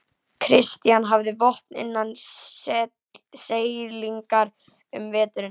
Christian hafði vopn innan seilingar um veturinn.